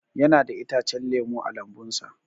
Yana da itacen lemu a lambun sa.